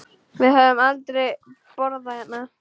Við höfum aldrei borðað hérna.